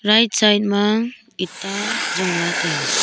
right side ma itta jong la taiga.